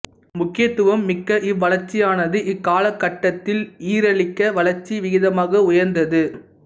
முக்கியத்துவம் மிக்க இவ்வளர்ச்சியானது இக்காலகட்டத்தில் ஈரிலக்க வளர்ச்சி விகிதமாக உயர்ந்தது